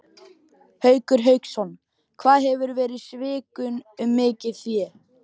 Haukur Hauksson: Hvað hefurðu verið svikinn um mikið fé?